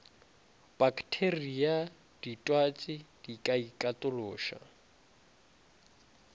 pakteria ditwatši di ka ikatološa